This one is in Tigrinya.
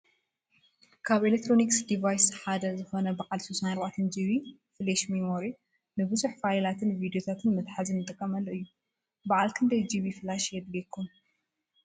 ካብ ኤክስተርናል ዲቫስስ ሓደ ዝኾነ ባዓል 64GB ፍለሽ ሚሞሪ ንቡዙሕ ፋይላትን ቪድዮታትን መትሓዚ ንጥቀመሉ እዩ፡፡ ባዓል ክንደይ GB ፍለሽ የድልየኩም?